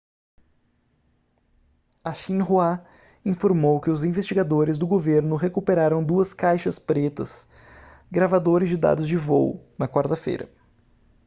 a xinhua informou que os investigadores do governo recuperaram duas caixas pretas gravadores de dados de voo na quarta-feira